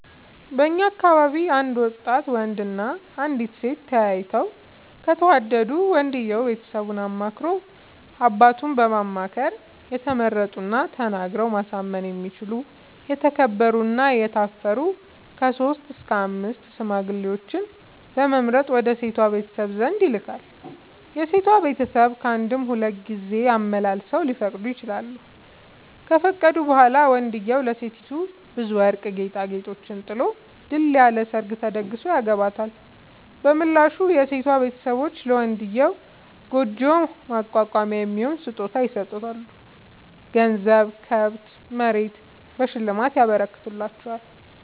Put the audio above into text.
በእኛ አካባቢ አንድ ወጣት ወንድ እና አንዲት ሴት ተያይተው ከተወዳዱ ወንድየው ቤተሰቡን አማክሮ አባቱን በማማከር የተመረጡና ተናግረው ማሳመን የሚችሉ የተከበሩ እና የታፈሩ ከሶስት እስከ አምስት ሽማግሌዎችን በመምረጥ ወደ ሴቷ ቤተሰብ ዘንድ ይልካል። የሴቷ ቤተሰብ ካንድም ሁለት ሶስት ጊዜ አመላልሰው ሊፈቅዱ ይችላሉ። ከፈቀዱ በኋላ ወንድዬው ለሴቲቱ ብዙ ወርቅ ጌጣጌጦችን ጥሎ ድል ያለ ሰርግ ተደግሶ ያገባታል። በምላሹ የሴቷ ቤተሰቦች ለመንድዬው ጉጆ ማቋቋሚያ የሚሆን ስጦታ ይሰጣሉ ገንዘብ፣ ከብት፣ መሬት በሽልማት ይረከትላቸዋል።